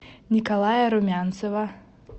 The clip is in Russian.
николая румянцева